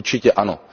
Určitě ano.